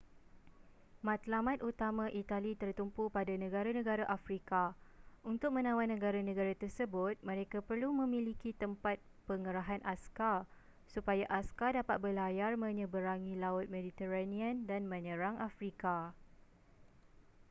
matlamat utama itali tertumpu pada negara-negara afrika untuk menawan negara-negara tersebut mereka perlu memiliki tempat pengerahan askar supaya askar dapat berlayar menyeberangi laut mediterranean dan menyerang afrika